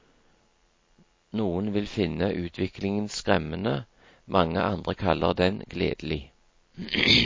Noen vil finne utviklingen skremmende, mange andre kaller den gledelig.